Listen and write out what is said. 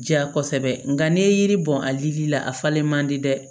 Diya kosɛbɛ nka n'i ye yiri bɔn a dili la a falen man di dɛ